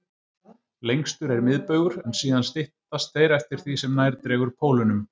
Lengstur er miðbaugur, en síðan styttast þeir eftir því sem nær dregur pólunum.